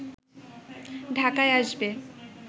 ঢাকায় আসবে